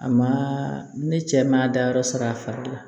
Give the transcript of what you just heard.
A ma ne cɛ ma dayɔrɔ sɔrɔ a fari la